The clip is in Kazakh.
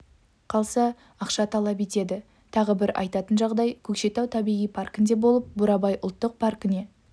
қалса ақша талап етеді тағы бір айтатын жағдай көкшетау табиғи паркінде болып бурабай ұлттық паркіне